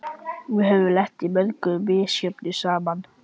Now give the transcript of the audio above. Við höfum lent í mörgu misjöfnu saman.